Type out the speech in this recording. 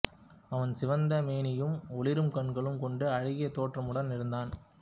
அவன் சிவந்த மேனியும் ஒளிரும் கண்களும் கொண்டு அழகிய தோற்றமுடன் இருந்தான்